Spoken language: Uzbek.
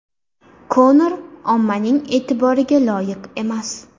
Konor ommaning e’tiboriga loyiq emas.